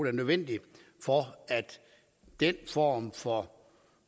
er nødvendige for at den form for